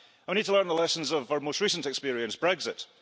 And we need to learn the lessons of our most recent experience, Brexit.